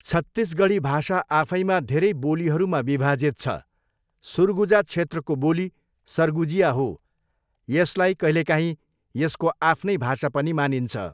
छत्तीसगढी भाषा आफैमा धेरै बोलीहरूमा विभाजित छ, सुरगुजा क्षेत्रको बोली सर्गुजिया हो, यसलाई कहिलेकाहीँ यसको आफ्नै भाषा पनि मानिन्छ।